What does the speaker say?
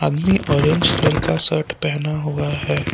आदमी orange colour का shirt पहना हुआ है।